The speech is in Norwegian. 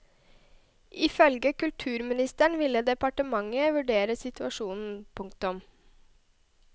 Ifølge kulturministeren vil departementet vurdere situasjonen. punktum